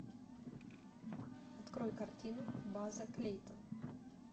открой картину база клейтон